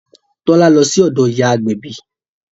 Tọ́lá lọ sí ọ̀dọ̀ ìyá agbẹ̀bí